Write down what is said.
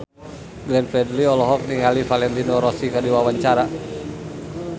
Glenn Fredly olohok ningali Valentino Rossi keur diwawancara